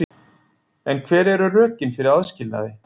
En hver eru rökin fyrir aðskilnaði?